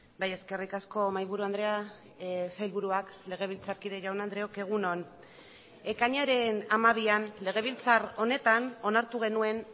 bai eskerrik asko mahaiburu andrea sailburuak legebiltzarkide jaun andreok egun on ekainaren hamabian legebiltzar honetan onartu genuen